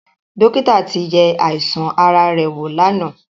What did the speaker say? Dọ́kítà ti yẹ àìsàn ara rẹ̀ wò lánàá.